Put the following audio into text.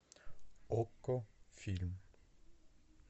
окко фильм